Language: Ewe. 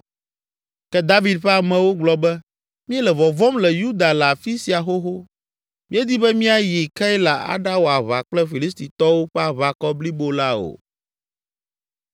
Ke David ƒe amewo gblɔ be, “Míele vɔvɔ̃m le Yuda le afi sia xoxo, Míedi be míayi Keila aɖawɔ aʋa kple Filistitɔwo ƒe aʋakɔ blibo la o!”